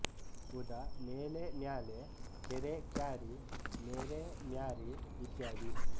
ಉದಾ ಮೇಲೆ ಮ್ಯಾಲೆ ಕೆರೆ ಕ್ಯಾರಿ ಮೆರೆ ಮ್ಯಾರಿ ಇತ್ಯಾದಿ